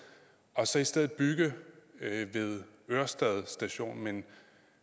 og så i stedet bygge ved ørestad station men